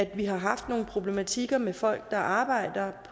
vi har haft nogle problematikker med folk der arbejder